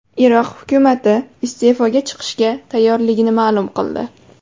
Iroq hukumati iste’foga chiqishga tayyorligini ma’lum qildi.